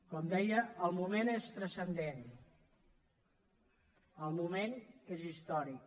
com deia el moment és transcendent el moment és històric